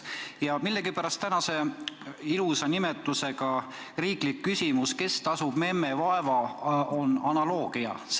Ja tänase ilusa pealkirjaga olulise tähtsusega riikliku küsimuse "Kes tasub memme vaeva?" puhul tuleb mängu analoogia.